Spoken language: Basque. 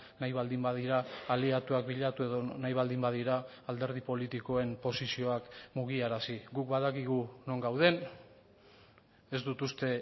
nahi baldin badira aliatuak bilatu edo nahi baldin badira alderdi politikoen posizioak mugiarazi guk badakigu non gauden ez dut uste